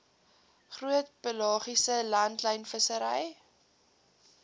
groot pelagiese langlynvissery